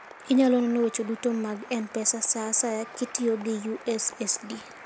Inyalo nono weche duto mag M-Pesa sa asaya kitiyo gi USSD.